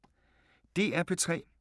DR P3